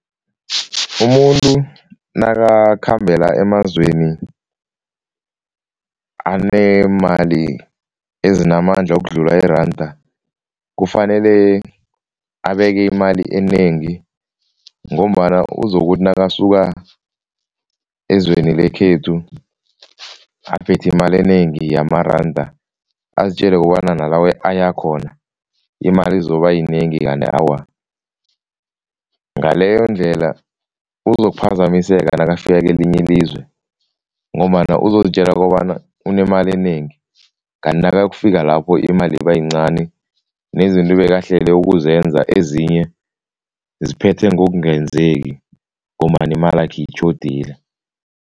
Umuntu nakakhambela emazweni anemali ezinamandla ukudlula iranda, kufanele abeke imali enengi ngombana uzokuthi nakasuka ezweni lekhethu aphethe imali enengi yamaranda, azitjele kobana nala ayakhona imali izobayinengi kanti awa. Ngaleyondlela uzokuphazamiseka nakafika kelinye ilizwe ngombana uzozitjela kobana unemali enengi kanti nakayokufika lapho imali ibayincani nezinto ebekahlele ukuzenza ezinye ziphethe ngokungenzeki ngombana imalakhe itjhodile.